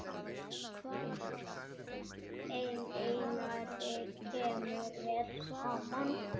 Þeim Einari kemur vel saman.